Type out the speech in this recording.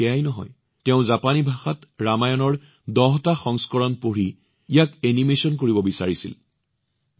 কেৱল সেয়াই নহয় তেওঁ জাপানী ভাষাত ৰামায়ণৰ ১০টা সংস্কৰণ পঢ়িছিল আৰু তেওঁ সেইটোতে ৰৈ যোৱা নাছিল তেওঁ ইয়াক এনিমেছনতো প্ৰদৰ্শিত কৰিব বিচাৰিছিল